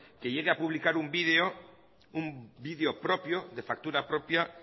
que llegue a publicar un vídeo propio de factura propia